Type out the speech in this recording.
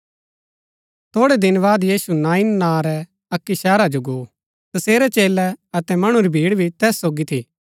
थोड़ै दिन बाद यीशु नाईन नां रै अक्की शहरा जो गो तसेरै चेलै अतै मणु री भीड़ भी तैस सोगी थी